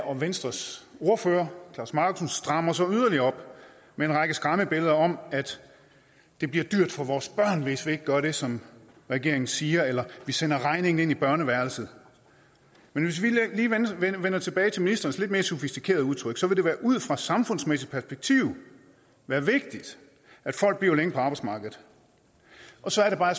og venstres ordfører klaus markussen strammer så yderligere op med en række skræmmebilleder om at det bliver dyrt for vores børn hvis vi ikke gør det som regeringen siger eller at vi sender regningen ind i børneværelset men hvis vil lige vender tilbage til ministerens lidt mere sofistikerede udtryk vil det ud fra et samfundsmæssigt perspektiv være vigtigt at folk bliver længere på arbejdsmarkedet så er det bare